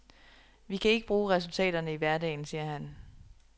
Vi kan ikke bruge resultaterne i hverdagen, siger han.